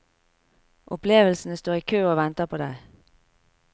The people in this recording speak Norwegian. Opplevelsene står i kø og venter på deg.